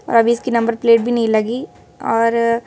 और अभी इसकी नंबर प्लेट भी नहीं लगी और--